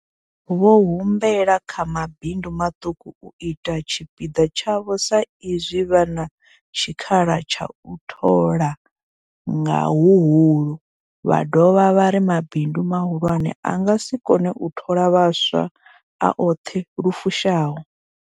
Vho humbela vha mabindu maṱuku u ita tshipiḓa tshavho sa izwi vha na tshikhala tsha u thola nga huhulu, vha dovha vha ri mabindu mahulwane a nga si kone u thola vhaswa a oṱhe lu fushaho.